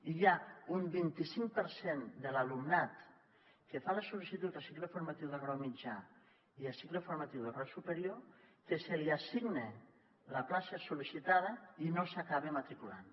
i hi ha un vint i cinc per cent de l’alumnat que fa la sol·licitud a cicle formatiu de grau mitjà i a cicle formatiu de grau superior que se li assigna la plaça sol·licitada i no s’hi acaba matriculant